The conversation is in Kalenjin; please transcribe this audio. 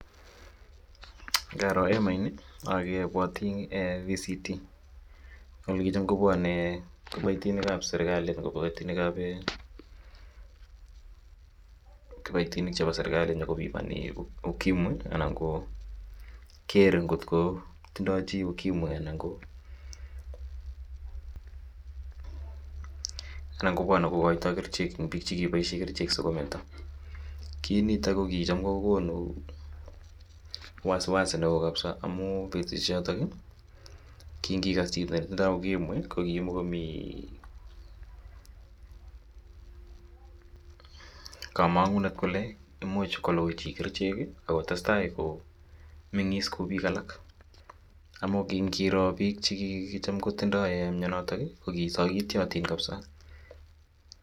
ngaroo en emainii obwotii voluntary counseling and testing olechom kobwonee kiboitinik ab serkalii um kiboitinik ab serkali konyokobimoni ukimwi anan koo geer kot kotindo chi ukimwi anan koo {pause] kobwone kogoitoo kerichek en biik chikeboishen kerichek sigometo, kiit niton ko kichom kogonu wasiwasi neoo kabisa omuun betushek choton iih kinn ngiigas chiton netindoo ukimwi komii komongunet kole imuuch kolugui chi kerichek ak kotestai mengis kouu biik alak omunkiin ngiroo biik chekicham kotindoo myonoton iih kogisogityotin kabisa